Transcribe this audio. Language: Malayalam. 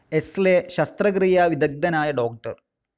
എസ്ലെ ശസ്തക്രിയാ വിദഗ്ധനായ ഡോക്ടർ.